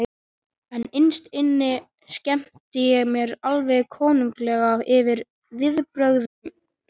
En innst inni skemmti ég mér alveg konunglega yfir viðbrögðunum.